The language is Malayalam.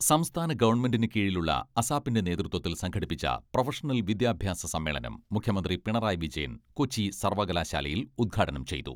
സംസ്ഥാന ഗവൺമെന്റിന് കീഴിലുള്ള അസാപ്പിന്റെ അസാപ്പിന്റെ നേതൃത്വത്തിൽ സംഘടിപ്പിച്ച പ്രൊഫഷണൽ വിദ്യാഭ്യാസ സമ്മേളനം മുഖ്യമന്ത്രി പിണറായി വിജയൻ കൊച്ചി സർവ്വകലാശാലയിൽ ഉദ്ഘാടനം ചെയ്തു.